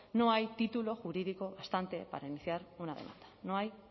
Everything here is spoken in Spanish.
no hay título jurídico bastante para iniciar una demanda no hay